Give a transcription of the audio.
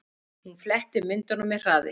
Hún fletti myndunum með hraði.